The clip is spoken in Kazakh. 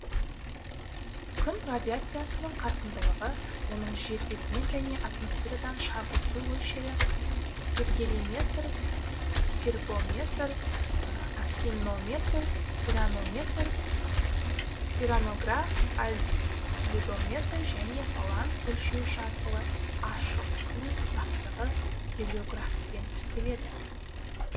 күн радиациясының қарқындылығы оның жер бетінен және атмосферадан шағылысу мөлшері пиргелиметр пиргеометр актинометр пиранометр пиранограф альбедометр және баланс өлшеуіш арқылы ашық күн ұзақтығы гелиографпен тіркеледі